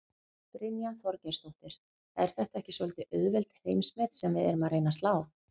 Brynja Þorgeirsdóttir: Er þetta ekki svolítið auðveld heimsmet sem við erum að reyna að slá?